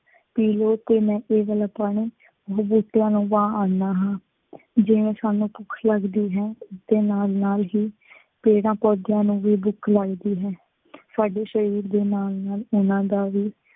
ਪੀ ਲਉ ਅਤੇ ਮੈਂ ਇਹ ਵਾਲਾ ਪਾਣੀ ਬੁੱਟਿਆਂ ਨੂੰ ਪਾ ਆਉਂਦਾ ਹਾਂ। ਜਿਵੇਂ ਸਾਨੂੰ ਭੁੱਖ ਲੱਗਦੀ ਹੈ ਅਤੇ ਨਾਲ ਨਾਲ ਹੀ ਪੇੜਾਂ-ਪੌਦਿਆਂ ਨੂੰ ਵੀ ਭੁੱਖ ਲੱਗਦੀ ਹੈ। ਸਾਡੇ ਸ਼ਰੀਰ ਦੇ ਨਾਲ ਨਾਲ ਉਹਨਾ ਦਾ ਵੀ